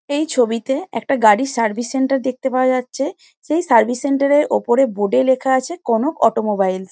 এই ছবিতে একটি গাড়ির সার্ভিস সেন্টার দেখতে পাওয়া যাচ্ছে সেই সার্ভিস সেন্টার এর ওপরে বোর্ড এ লেখা আছে কনক অটোমোবিলেস ।